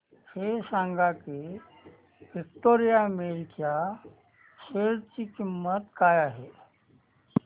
हे सांगा की विक्टोरिया मिल्स च्या शेअर ची किंमत काय आहे